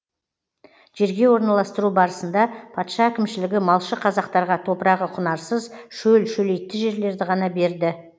жерге орналастыру барысында патша әкімшілігі малшы қазақтарға топырағы құнарсыз шөл шөлейтті жерлерді ғана берді